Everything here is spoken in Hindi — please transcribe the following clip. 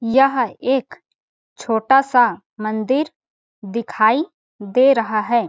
यह एक छोटा -सा मंदिर दिखाई दे रहा हैं ।